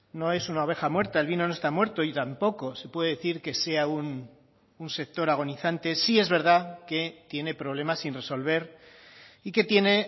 no es una oveja muerta el vino no está muerto y tampoco se puede decir que sea un sector agonizante sí es verdad que tiene problemas sin resolver y que tiene